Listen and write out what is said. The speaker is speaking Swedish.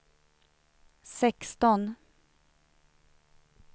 sexton